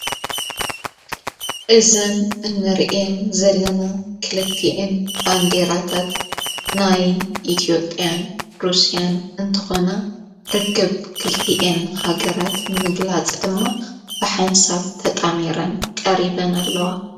እዘን እንርአን ዘለና ክልቲኤን ባንዲራታት ናይ ኢትዮጴያን ሩስያን እንተኾና ርክብ ክልቲኤን ሃገራት ንምግላጸ ድማ ብሓንሳብ ተጣሜረን ቀሪበን ኣለዋ::